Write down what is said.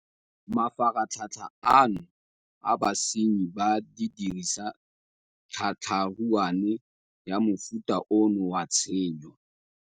Mafaratlhatlha ano a basenyi ba dirisa tlhatlha ruane ya mofuta ono wa tshenyo.